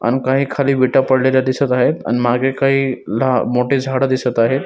अन काही खाली विठा पडलेल्या दिसत आहे अन मागे काही ल मोठे झाडे दिसत आहे.